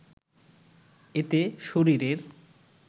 এতে শরীরের